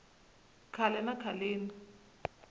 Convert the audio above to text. khale ka khaleni